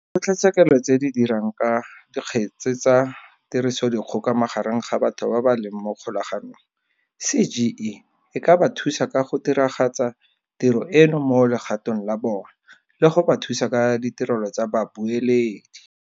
Di kgotlatshekelo tse di Dirang ka Dikgetsa tsa tirisodikgoka magareng ga batho ba ba leng mo kgolaganong, CGE e ka ba thusa ka go diragatsa tiro eno mo legatong la bona, le go ba thusa ka ditirelo tsa babueledi.